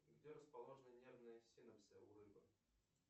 где расположены нервные синопсы у рыбы